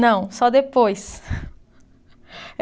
Não, só depois.